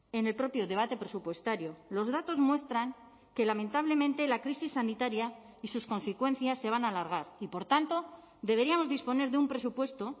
en el propio debate presupuestario los datos muestran que lamentablemente la crisis sanitaria y sus consecuencias se van a alargar y por tanto deberíamos disponer de un presupuesto